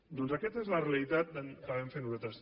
doncs aquesta és la realitat que vam fer nosaltres